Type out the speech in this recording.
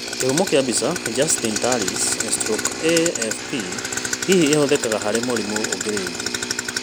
Kĩhumo kĩa mbica JuSTiN TALLiS/AFP, hihi ĩhũthĩkaga harĩ mũrimũ ũngĩ rĩngĩ?